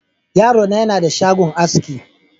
Yaro na yana da shagon aski.